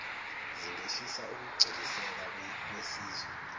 zingehlisa ukugculiseka kwesizwe